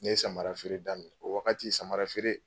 Ne ye samarafeere daminɛ o wagati samarafeere